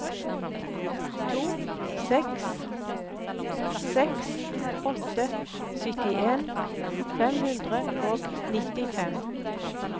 to seks seks åtte syttien fem hundre og nittifem